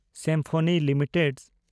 symphony limited